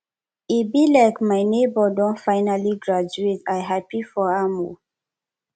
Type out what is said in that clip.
e be like my nebor don finally graduate i happy for am o